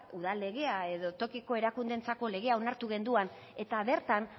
udal legea edo tokiko erakundeentzako legea onartu genuen eta bertan